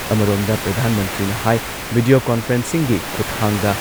ꯑꯃꯔꯣꯝꯗ, ꯄ꯭ꯔꯙꯥꯟ ꯃꯟꯇ꯭ꯔꯤꯅ ꯍꯥꯏ ꯚꯤꯗꯤꯌꯣ ꯀꯣꯟꯐꯔꯦꯟꯁꯤꯡꯒꯤ ꯈꯨꯊꯥꯡꯗ